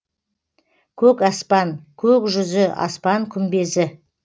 көк аспан көк жүзі аспан күмбезі